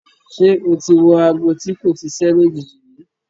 Ṣé o ti wọ aago tí kò ṣiṣẹ́ lójijì rí?